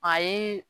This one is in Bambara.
A ye